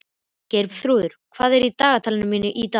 Geirþrúður, hvað er í dagatalinu mínu í dag?